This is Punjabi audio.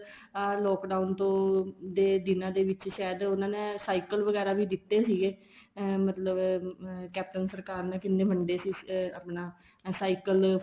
ਅਹ lock down ਤੋਂ ਦੇ ਦਿਨਾ ਦੇ ਵਿੱਚ ਸਾਇਦ ਉਹਨਾ ਨੇ cycle ਵਗੈਰਾ ਵੀ ਦਿੱਤੇ ਸੀਗੇ ਅਹ ਮਤਲਬ caption ਸਰਕਾਰ ਨੇ ਕਿੰਨੇ ਵੰਡੇ ਸੀ ਆਪਣਾ cycle